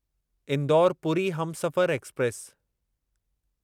Indore Puri Humsafar express